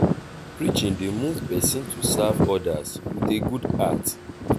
pesin wey dey lis ten to preaching well well dey grow spiritually.